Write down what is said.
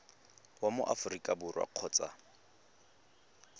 wa mo aforika borwa kgotsa